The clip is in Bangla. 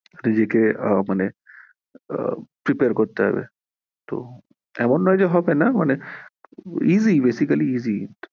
নিজেকে আহ মানে আহ prepare করতে হবে তো এমন নয় যে হবেনা মানে easy basically easy